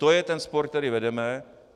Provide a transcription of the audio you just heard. To je ten spor, který vedeme.